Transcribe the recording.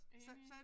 Enig